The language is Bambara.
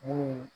Mun